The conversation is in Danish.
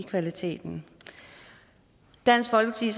kvaliteten i dansk folkeparti